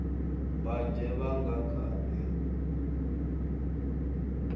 mbanzhe vha nga kha ḓi